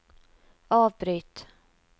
avbryt